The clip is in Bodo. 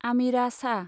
आमिरा शाह